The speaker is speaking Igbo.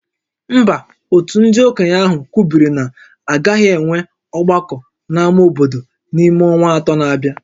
Mba, òtù ndị okenye ahụ kwubiri na a gaghị enwe ọgbakọ n'ámá obodo n'ime ọnwa atọ na-abịa